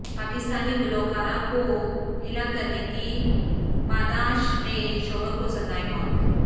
پاکستانی گلوکارہ کو ہلاک کرنے کی پاداش میں شوہر کو سزائے موت